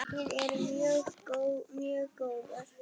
Við erum mjög góðar.